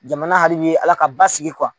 Jamana hali bi Ala ka basigi